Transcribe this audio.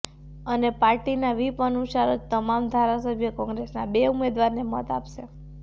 અને પાર્ટીના વ્હીપ અનુસાર જ તમામ ધારાસભ્યો કોંગ્રેસના બે ઉમેદવારને મત આપશે